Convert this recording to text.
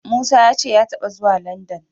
Musa ya ce ya taɓa zuwa Landan.